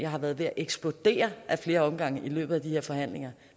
har været ved at eksplodere ad flere omgange i løbet af de her forhandlinger